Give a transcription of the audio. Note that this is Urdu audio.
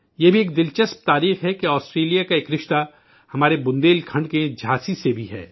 یہ بھی ایک دلچسپ تاریخ ہے کہ آسٹریلیا کا ایک رشتہ ہمارے بندیل کھنڈ کے جھانسی سے بھی ہے